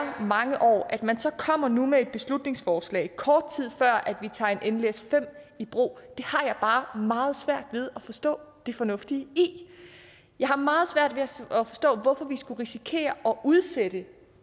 mange år at man så kommer nu med et beslutningsforslag kort tid før vi tager en nles5 i brug har jeg bare meget svært ved at forstå det fornuftige i jeg har meget svært ved at forstå hvorfor vi skulle risikere at udsætte